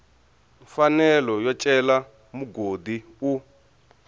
mfanelo yo cela mugodi u